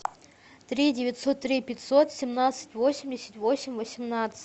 три девятьсот три пятьсот семнадцать восемьдесят восемь восемнадцать